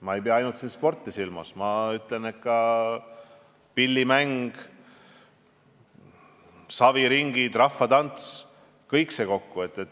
Ma ei pea siin silmas ainult sporti, vaid ka pillimängu, saviringe, rahvatantsu – kõike seda.